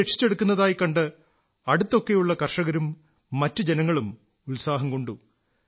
നദിയെ രക്ഷിച്ചെടുക്കുന്നതായി കണ്ട് അടുത്തൊക്കെയുള്ള കർഷകരും മറ്റു ജനങ്ങളും ഉത്സാഹംകൊണ്ടു